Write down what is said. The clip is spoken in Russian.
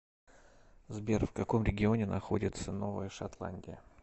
сбер в каком регионе находится новая шотландия